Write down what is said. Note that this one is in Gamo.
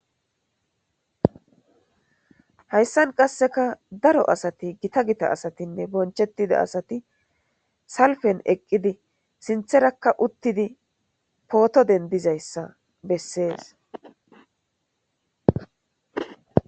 Hayisani qasekka daro asati gotta gita asatinne bonichchetida asati salippeni eqidi sinththarakka uttidi potto denidizaaysa besesi